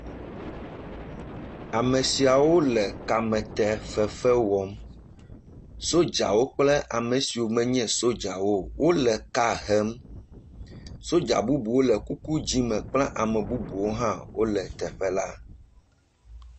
Ame siawo le kamete fefe wɔm, sodzawo kple ame siwo menye sodzawo o, wole ka hem sodza bubu le kuku dzɛ̃ me kple ame bubu hã wole teƒe la.